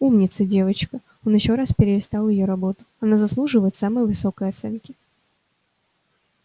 умница девочка он ещё раз перелистал её работу она заслуживает самой высокой оценки